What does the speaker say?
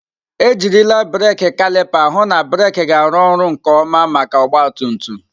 Ejirila brekị kalịpa hụ na breeki ga-arụ ọrụ nke ọma maka ọgba tum tum.